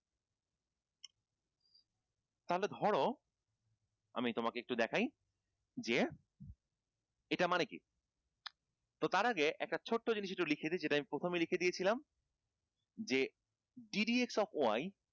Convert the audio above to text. তাহলে ধরো আমি তোমাকে একটু দেখাই যে এটা মানে কি তো তার আগে একটা ছোট্ট জিনিস একটু লিখে দেই যে আমি প্রথমে লিখে দিয়েছিলাম যে gdp of y